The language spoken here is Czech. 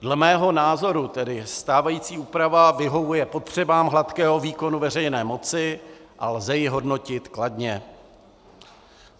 Dle mého názoru tedy stávající úprava vyhovuje potřebám hladkého výkonu veřejné moci a lze ji hodnotit kladně.